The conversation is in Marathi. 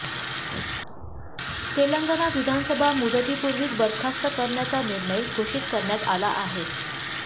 तेलंगणा विधानसभा मुदतीपूर्वीच बरखास्त करण्याचा निर्णय घोषित करण्यात आला आहे